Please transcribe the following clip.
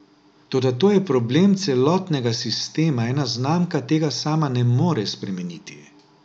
Toda to je problem celotnega sistema, ena znamka tega sama ne more spremeniti.